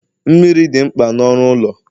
Mmiri dị mkpa na ọrụ ụlọ